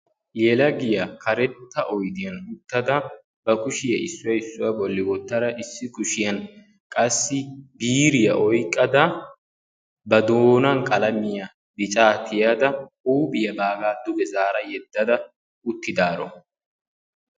Yelagiyaa karetta oyddiyaan uttada ba kushiyaa issuwa issuwaa bolli wottada issi kushiyaan qassi biiriyaa oyqqada ba doonan qalamiya bicca tiyada huuphiyaa baaga duge zaara yedadda uttidaaro.